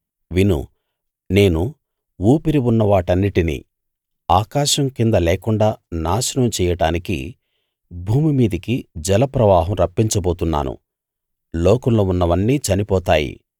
విను నేను ఊపిరి ఉన్నవాటన్నిటినీ ఆకాశం కింద లేకుండా నాశనం చెయ్యడానికి భూమి మీదికి జలప్రవాహం రప్పించబోతున్నాను లోకంలో ఉన్నవన్నీ చనిపోతాయి